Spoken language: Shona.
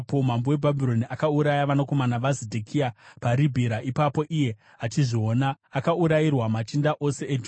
Mambo weBhabhironi akauraya vanakomana vaZedhekia paRibhira ipapo, iye achizviona; akaurayirwa machinda ose eJudha.